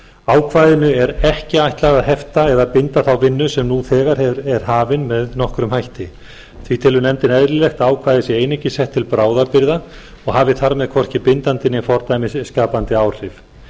ákvæðinu er ekki ætlað að hefta eða binda þá vinnu sem nú þegar er hafin með nokkrum hætti því telur nefndin eðlilegt að ákvæðið sé einungis sett til bráðabirgða og hafi þar með hvorki bindandi né fordæmisskapandi áhrif